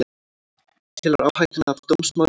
Telur áhættuna af dómsmáli meiri